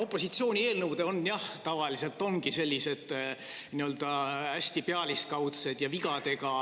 Opositsiooni eelnõud, jah, tavaliselt ongi hästi pealiskaudsed ja vigadega.